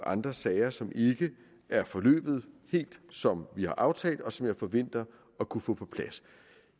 andre sager som ikke er forløbet helt som vi har aftalt og som jeg forventer at kunne få på plads